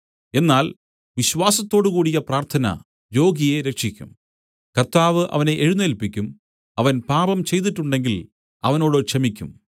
എന്നാൽ വിശ്വാസത്തോടുകൂടിയ പ്രാർത്ഥന രോഗിയെ രക്ഷിക്കും കർത്താവ് അവനെ എഴുന്നേല്പിക്കും അവൻ പാപം ചെയ്തിട്ടുണ്ടെങ്കിൽ അവനോട് ക്ഷമിയ്ക്കും